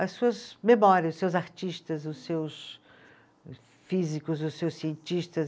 as suas memórias, os seus artistas, os seus físicos, os seus cientistas.